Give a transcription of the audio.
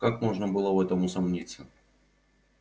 как можно было в этом усомниться